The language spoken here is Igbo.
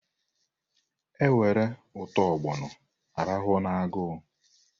E were ụtọ ọgbọnọ a rahụ n'agụ.